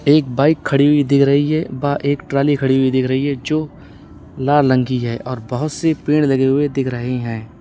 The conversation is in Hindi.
एक बाइक खड़ी हुई दिख रही है वह एक ट्राली खड़ी हुई दिख रही है जो लाल रंग की है और बहोत से पेड़ लगे हुए दिख रहे हैं।